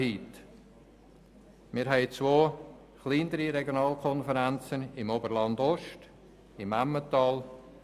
Wir haben zwei kleinere Regionalkonferenzen: Oberland-Ost und Emmental.